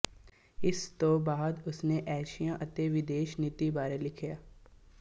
ਇਸ ਤੋਂ ਬਾਅਦ ਉਸਨੇ ਏਸ਼ੀਆ ਅਤੇ ਵਿਦੇਸ਼ ਨੀਤੀ ਬਾਰੇ ਲਿਖਿਆ